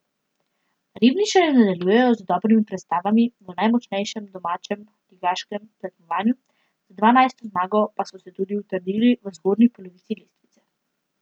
Ribničani nadaljujejo z dobrimi predstavami v najmočnejšem domačem ligaškem tekmovanju, z dvanajsto zmago pa so se tudi utrdili v zgornji polovici lestvice.